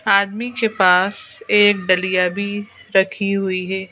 आदमी के पास एक डलिया भी रखी हुई है।